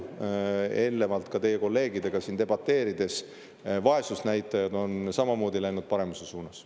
Eelnevalt ka teie kolleegidega siin debateerides, vaesusnäitajad on samamoodi läinud paremuse suunas.